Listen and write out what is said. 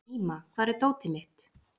Íma, hvar er dótið mitt?